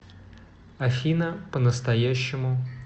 афина по настоящему